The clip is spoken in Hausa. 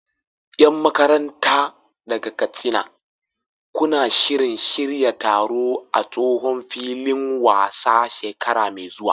Yan makaranta daga Katsina, kuna shirin shirya taro a tsohon filin wasan shekara mai zuwa?